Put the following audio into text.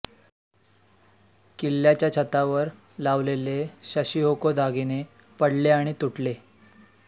किल्ल्याच्या छतावर लावलेले शशीहोको दागिने पडले आणि तुटले